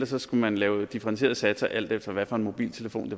så skulle man lave differentierede satser alt efter hvilken mobiltelefon